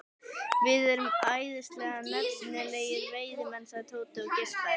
Við erum æðislega efnilegir veiðimenn sagði Tóti og geispaði.